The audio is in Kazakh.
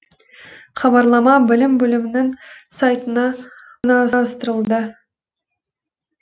хабарлама білім бөлімінің сайтына орналастырылды